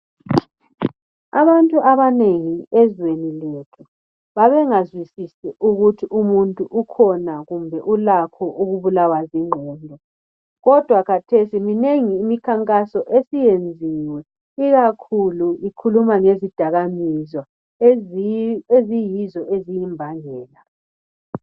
Abantu abanengi ezweni lethu babengazwizisi ukuthi umuntu ukhona kumbe ulakho ukubulawa zingqondo kodwa khathesi minengi imikhankaso esiyenziwe ikakhulu ikhuluma ngezidakamizwa eziyizo eziyimbangela.